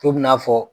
Fo bi n'a fɔ